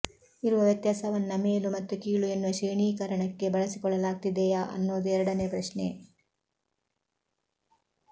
ಇರುವ ವ್ಯತ್ಯಾಸವನ್ನ ಮೇಲು ಮತ್ತು ಕೀಳು ಎನ್ನುವ ಶ್ರೇಣೀಕರಣಕ್ಕೆ ಬಳಸಿಕೊಳ್ಳಲಾಗ್ತಿದೆಯಾ ಅನ್ನೋದು ಎರಡನೇ ಪ್ರಶ್ನೆ